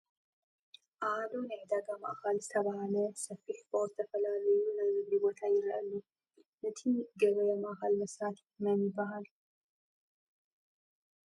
ኣሃዱ ናይ ዕዳጋ ማእከል ዝተበሃለ ሰፊሕ ፎቅ ዝተፈላለዩ ናይ ንግዲ ቦታ ይረአ ኣሎ ። ንይቲ ገበያ ማእከል መስራቲ ምን ይበሃል ?